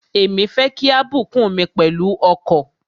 Èmi fẹ́ kí a bùkún mi pẹ̀lú ọkọ̀.